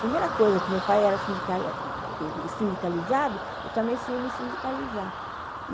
Primeira coisa é que meu pai era sindica, era sindicalizado, eu também fui me sindicalizar.